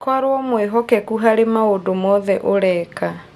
Korũo mwĩhokeku harĩ maũndũ mothe ũreka